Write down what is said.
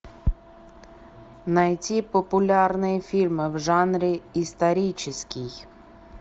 найти популярные фильмы в жанре исторический